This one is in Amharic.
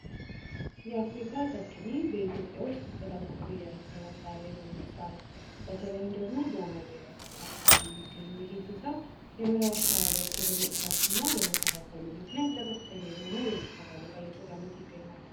የአፍሪካ ቀጭኔ በኢትዮጵያ ውስጥ በጣም እያነሰ የመጣ የዱር እንስሳት ነው። በተለይም ደግሞ በኦሞ ብሄራዊ ፓርክ አካባቢ የሚገኘው ይህ እንስሳ መኖሪያ አካባቢያቸው በመጥፋቱ እና በመመናመኑ ምክንያት ከፍተኛ በሆነ አደጋ እየተጋለጡ ይገኛሉ።